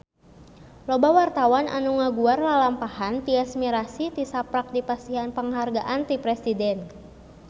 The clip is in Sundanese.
Loba wartawan anu ngaguar lalampahan Tyas Mirasih tisaprak dipasihan panghargaan ti Presiden